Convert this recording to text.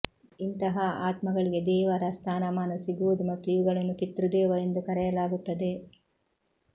ಇಂತಹ ಆತ್ಮಗಳಿಗೆ ದೇವರ ಸ್ಥಾನಮಾನ ಸಿಗುವುದು ಮತ್ತು ಇವುಗಳನ್ನು ಪಿತೃದೇವ ಎಂದು ಕರೆಯಲಾಗುತ್ತದೆ